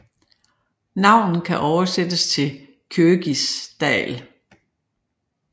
Navnet kan oversættes til Kjóvgis dal